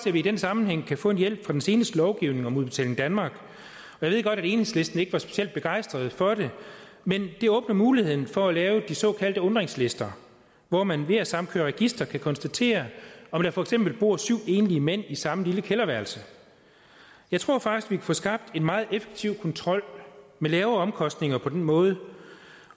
at vi i den sammenhæng kan få en hjælp fra den seneste lovgivning om udbetaling danmark jeg ved godt at enhedslisten ikke var specielt begejstret for det men det åbner muligheden for at lave de såkaldte undringslister hvor man ved at samkøre registre kan konstatere om der for eksempel bor syv enlige mænd i samme lille kælderværelse jeg tror faktisk vi kan få skabt en meget effektiv kontrol med lave omkostninger på den måde